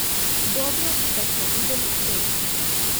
Dobro, da smo videli prejšnjega.